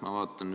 Ma vaatan, et